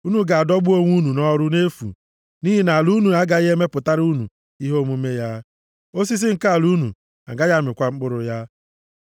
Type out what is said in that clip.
Unu ga-adọgbu onwe unu nʼọrụ nʼefu, nʼihi na ala unu agaghị emepụtara unu ihe omume ya, osisi nke ala unu agaghị amịkwa mkpụrụ ya.